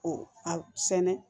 O a sɛnɛ